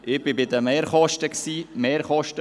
Ich bin bei den Mehrkosten verblieben.